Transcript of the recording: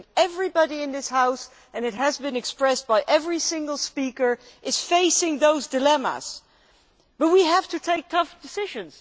I think everybody in this House and this has been expressed by every single speaker is facing those dilemmas, but we have to take tough decisions.